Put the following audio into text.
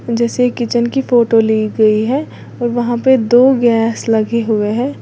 जैसे किचन की फोटो ली गई है और वहां पे दो गैस लगे हुए हैं।